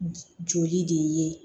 Joli de ye